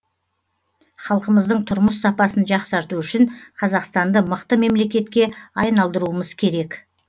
халқымыздың тұрмыс сапасын жақсарту үшін қазақстанды мықты мемлекетке айналдыруымыз керек